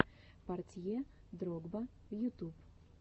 портье дрогба ютуб